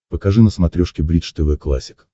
покажи на смотрешке бридж тв классик